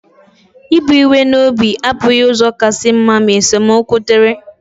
Ibu iwe n'obi abụghị ụzọ kasị mma ma esemokwu dịrị.